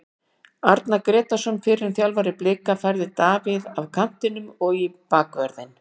Arnar Grétarsson, fyrrum þjálfari Blika, færði Davíð af kantinum og í bakvörðinn.